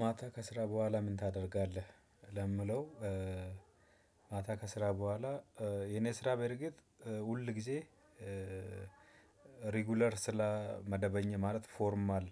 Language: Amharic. ማታ ከስራ በኋላ ምን ታደርጋለህ ለምለው? ማታ ከስራ በኋላ የኔ ስራ በርግጥ ሁል ጊዜ ሬጉላር ስለመደበኛ ማለት ፎርማል